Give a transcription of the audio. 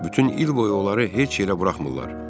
Bütün il boyu onları heç yerə buraxmırlar.